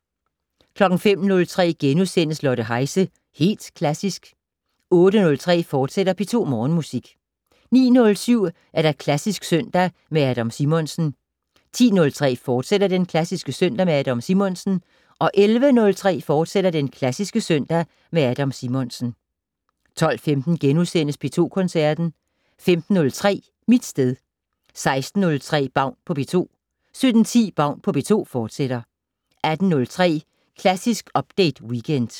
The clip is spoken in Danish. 05:03: Lotte Heise - Helt Klassisk * 08:03: P2 Morgenmusik, fortsat 09:07: Klassisk søndag med Adam Simonsen 10:03: Klassisk søndag med Adam Simonsen, fortsat 11:03: Klassisk søndag med Adam Simonsen, fortsat 12:15: P2 Koncerten * 15:03: Mit sted 16:03: Baun på P2 17:10: Baun på P2, fortsat 18:03: Klassisk Update Weekend